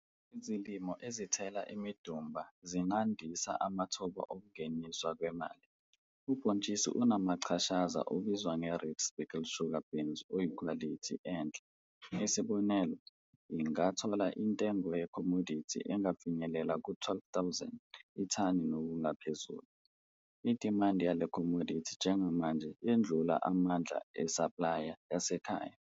Izilimo ezithela imidumba zingandisa amathuba okungenisa kwemali. Ubhontshisi unamachashaza obizwa nge-red speckled sugar beans oyikhwalithi enhle, isibonelo, ingathola intengo yekhomodithi engafinyelela ku-R12 000, ithani nokungaphezulu. Idimandi yale khomodithi njengamanje yedlula amandla esaplaya yasekhaya.